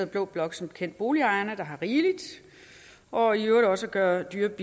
blå blok som bekendt boligejerne der har rigeligt og i øvrigt også at gøre dyre